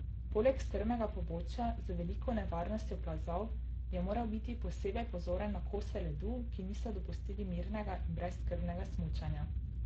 Poleg strmega pobočja z veliko nevarnostjo plazov, je moral biti posebej pozoren na kose ledu, ki niso dopustili mirnega in brezskrbnega smučanja.